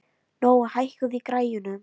Nói, hækkaðu í græjunum.